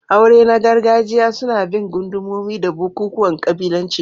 Aure na gargajiya suna bin gundumomi da bukukuwan kabilanci.